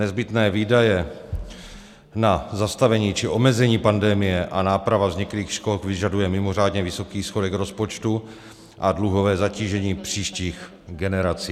Nezbytné výdaje na zastavení či omezení pandemie a náprava vzniklých škod vyžaduje mimořádně vysoký schodek rozpočtu a dluhové zatížení příštích generací.